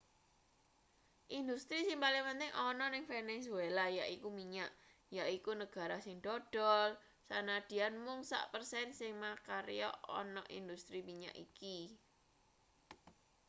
industri sing paling penting ana ning venezuela yaiku minyak yaiku negara sing dodol sanadyan mung sak persen sing makarya ana industri minyak iki